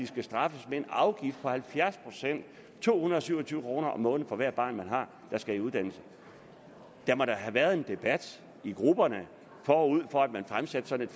skal straffes med en afgift på halvfjerds procent to hundrede og syv og tyve kroner om måneden for hvert barn man har der skal i uddannelse der må da have været en debat i grupperne forud for at man fremsatte sådan